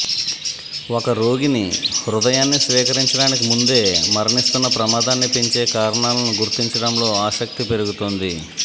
ఒక రోగిని హృదయాన్ని స్వీకరించడానికి ముందే మరణిస్తున్న ప్రమాదాన్ని పెంచే కారణాలను గుర్తించడంలో ఆసక్తి పెరుగుతోంది